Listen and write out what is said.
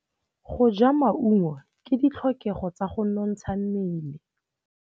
Go ja maungo ke ditlhokegô tsa go nontsha mmele.